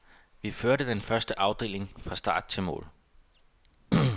Vi førte den første afdeling fra start til mål.